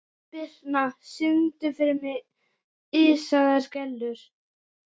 Birtna, syngdu fyrir mig „Ísaðar Gellur“.